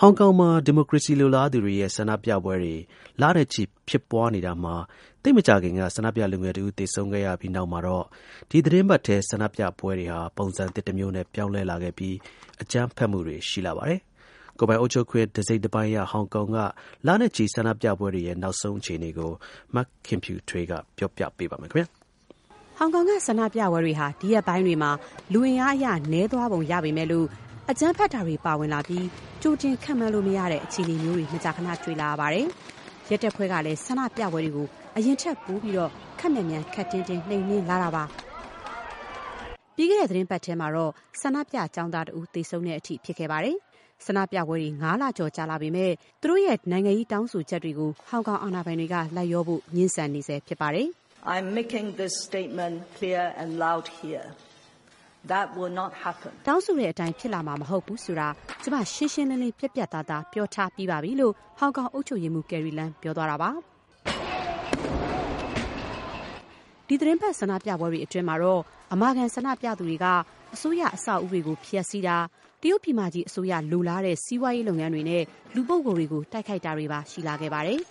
ဟောင်ကောင်မှာ ဒီမိုကရေစီလိုလားသူတွေရဲ့ ဆန္ဒပြပွဲတွေ လနဲ့ချီ ဖြစ်ပွားနေတာမှာ သိပ်မကြာခင်က ဆန္ဒပြလူငယ်တဦး သေဆုံးခဲ့ရပြီး နောက်မှာတော့ ဒီသီတင်းပတ်ထဲ ဆန္ဒပြပွဲတွေဟာ ပုံစံသစ်တမျိုးနဲ့ ပြောင်းလဲလာခဲ့ပြီး အကြမ်းဖက်မှုတွေ ရှိလာပါတယ်။ ကိုယ်ပိုင်အုပ်ချုပ်ခွင့် တစိတ်တပိုင်းရ ဟောင်ကောင်က လနဲ့ချီ ဆန္ဒပြပွဲတွေရဲ့ နောက်ဆုံးအခြေအနေကို မခင်ဖြူထွေးက ပြောပြပေးပါမယ်။ ဟောင်ကောင်က ဆန္ဒပြပွဲတွေဟာ ဒီရက်ပိုင်းတွေမှာ လူအင်အားအရ နည်းသွားပုံရပေမဲ့၊ အကြမ်းဖက်တာတွေ ပါဝင်လာပြီး ကြိုတင် ခန့်မှန်းလို့မရတဲ့ အခြေအနေမျိုးတွေ မကြာခန တွေ့လာရပါတယ်။ ရဲတပ်ဖွဲ့တွေကလည်း ဒီဆန္ဒပြပွဲတွေကို အရင်ထပ်ပိုပြီး ခပ်မြန်မြန် ခပ်တင်းတင်း နှိမ်နင်းလာပါတယ်။ ပြီးခဲ့တဲ့သီတင်းပတ်ထဲ ဆန္ဒပြ ကျောင်းသားလူငယ်တဦး သေဆုံးတဲ့အထိ ဖြစ်ခဲ့ပါတယ်။ ဆန္ဒပြပွဲတွေ ၅ လကျော် ကြာလာခဲ့ပေမဲ့၊ ဆန္ဒပြသူတွေရဲ့ နိုင်ငံရေးတောင်းဆိုချက်တွေကို ဟောင်ကောင်အာဏာပိုင်တွေက လိုက်လျောဖို့ ငြင်းဆန်နေဆဲဖြစ်ပါတယ်။ "တောင်းဆိုတဲ့အတိုင်း ဖြစ်လာမှာမဟုတ်ဘူးဆိုတာ ကျမ ရှင်းရှင်းလင်းလင်း ပြတ်ပြတ်သားသား ပြောပြီးသားပဲ။” - လို့ ဟောင်ကောင် အုပ်ချုပ်ရေးမှူး ကယ်ရီလမ်း ပြောသွားတာပါ။ ဒီသီတင်းပတ် ဆန္ဒပြပွဲတွေအတွင်းမှာတော့ အမာခံ ဆန္ဒပြသူတွေဟာ အစိုးရအဆောက်အဦးတွေကို ဖျက်ဆီးတာ၊ တရုတ်ပြည်မကြီး အစိုးရ လိုလားတဲ့ စီးပွားရေးလုပ်ငန်းတွေနဲ့ လူပုဂ္ဂိုလ်တွေကို တိုက်ခိုက်တာတွေပါ ရှိလာခဲ့ပါတယ်။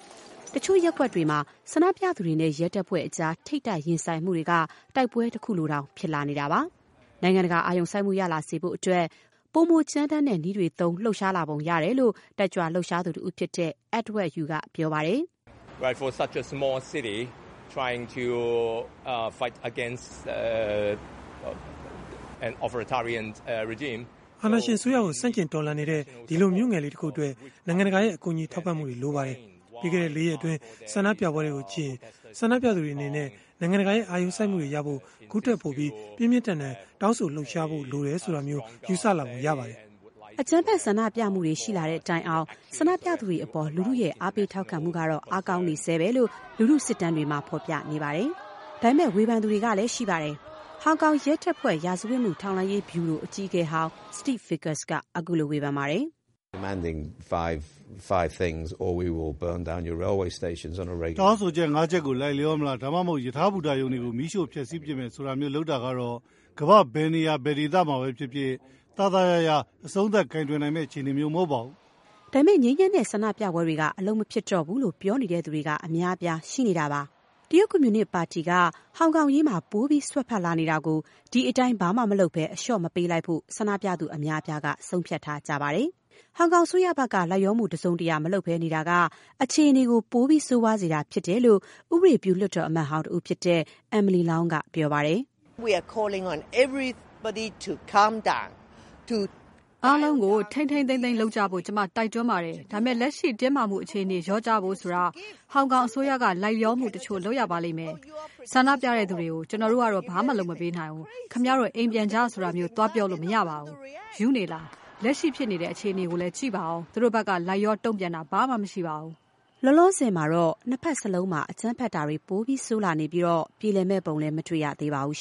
တချို့ရပ်ကွက်တွေမှာ ဆန္ဒပြသူတွေနဲ့ ရဲတပ်ဖွဲ့ကြား ထိပ်တိုက်ရင်ဆိုင်မှုတွေက တိုက်ပွဲတခုလိုတောင် ဖြစ်လာပါတယ်။ နိုင်ငံတကာ အာရုံစိုက်မှု ရလာစေဖို့အတွက် ပိုမိုကြမ်းတမ်းတဲ့နည်းတွေသုံး လှုပ်ရှားလာပုံရတယ်လို့ လှုပ်ရှားတက်ကြွသူတဦးဖြစ်တဲ့ Edward Yiu က ပြောပါတယ်။ “အာဏာရှင်အစိုးရကို ဆန့်ကျင်တော်လှန်နေတဲ့ ဒီလိုမြို့ငယ်လေးတခုအတွက် နိုင်ငံတကာရဲ့ ကူညီထောက်ပံ့မှု လိုပါတယ်။ ပြီးခဲ့တဲ့ လေးရက် ဆန္ဒပြမှုတွေကိုကြည့်ရင် ဆန္ဒပြသူတွေအနေနဲ့ နိုင်ငံတကာရဲ့ အာရုံစိုက်မှုရဖို့အတွက် ခုထပ်ပိုပြီး ပြင်းပြင်းထန်ထန် တောင်းဆိုတာ လှုပ်ရှားတာတွေ လုပ်ရမယ်ဆိုတာမျိုး ယူဆလာပုံရှိပါတယ်။” အကြမ်းဖက်ဆန္ဒပြမှုတွေ ရှိလာတဲ့တိုင်အောင် ဆန္ဒပြသူတွေအပေါ် လူထုရဲ့ အားပေးထောက်ခံမှု အားကောင်းနေဆဲပဲ ဆိုတာကို လူထုစစ်တမ်းတွေက ဖော်ပြနေပါတယ်။ ဒါပေမဲ့လည်း ဝေဖန်သူတွေလည်း ရှိပါတယ်။ ဟောင်ကောင် ရဲတပ်ဖွဲ့ ရာဇဝတ်မှု ထောက်လှမ်းရေးဗျူရို အကြီးအကဲဟောင်း Steve Vickers က ခုလို ဝေဖန်ပါတယ်။ “တောင်းဆိုချက် ၅ ချက်ကို လိုက်လျောမလား။ ဒါမှမဟုတ် ရထားဘူတာရုံတွေကို မီးရှို့ဖျက်ဆီးပစ်မယ် ဆိုတာမျိုး လုပ်တာကတော့ ကမ္ဘာ့ ဘယ်နေရာ ဘယ်ဒေသမှာပဲဖြစ်ဖြစ် သာသာယာယာ အဆုံးသတ်ကိုင်တွယ်နိုင်မယ့် အခြေအနေမျိုး မဟုတ်ပါဘူး။” ဒါပေမဲ့ ငြိမ်းချမ်းတဲ့ဆန္ဒပြပွဲတွေက အလုပ်မဖြစ်တော့ဘူးလို့ ပြောနေသူတွေက အများအပြား ရှိနေတာပါ။ တရုတ် ကွန်မြူနစ်ပါတီက ဟောင်ကောင်အရေးမှာ ပိုပြီး စွက်ဖက်လာနေတာကို ဒီအတိုင်း အလျှော့ မပေးလိုက်ဖို့ ဆန္ဒပြသူအများအပြားက ဆုံးဖြတ်ထားကြပါတယ်။ ဟောင်ကောင်အစိုးရဘက်က လိုက်လျောမှု တစုံတရာမလုပ်ဘဲနေတာက အခြေအနေကို ပိုပြီး ဆိုးရွားစေတာဖြစ်တယ်လို့ ဥပဒေပြု လွှတ်တော် အမတ်ဟောင်းတဦးဖြစ်တဲ့ Emily Lau က ပြောပါတယ်။ “အားလုံးကို ထိန်းထိန်းသိမ်းသိမ်းလုပ်ကြဖို့ ကျမတို့ တိုက်တွန်းပါတယ်။ ဒါပေမဲ့ လက်ရှိ တင်းမာမှုအခြေအနေလျော့ကျဖို့ ဆိုတာ ဟောင်ကောင်အစိုးရက လိုက်လျောမှုတချို့ လုပ်ရပါလိမ့်မယ်။ ဆန္ဒပြသူတွေကို - ‘ကျနော်တို့ကတော့ ဘာမှလုပ်ပေးမှာမဟုတ်ဘူး။ ခင်ဗျားတို့ အိမ်ပြန်ကြ ဆိုတာမျိုး သွားပြောလို့မရပါဘူး။ ရူးနေလားရှင်…လက်ရှိဖြစ်နေတဲ့ အခြေအနေကိုလည်း ကြည့်ပါဦး။ သူတို့ဘက်က လိုက်လျော တုံ့ပြန်တာ ဘာမှမရှိပါဘူး။” လောလောဆယ်မှာတော့ နှစ်ဘက်စလုံးမှာ အကြမ်းဖက်တာတွေ ပို ဆိုးလာနေပြီး ပြေလည်မယ့်ပုံလည်း မတွေ့ရသေးပါဘူး